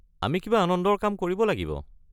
আমি কিবা আনন্দৰ কাম কৰিব লাগিব।